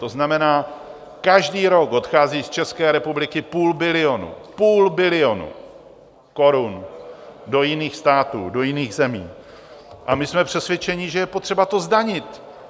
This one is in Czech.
To znamená, každý rok odchází z České republiky půl bilionu, půl bilionu korun do jiných států, do jiných zemí, a my jsme přesvědčeni, že je potřeba to zdanit.